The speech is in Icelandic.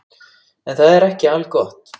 En það er ekki algott.